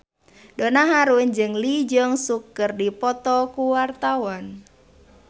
Donna Harun jeung Lee Jeong Suk keur dipoto ku wartawan